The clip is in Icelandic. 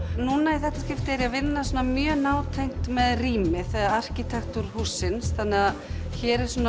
núna í þetta skiptið er ég að vinna mjög nátengt með rýmið arkitektúr hússins þannig að hér er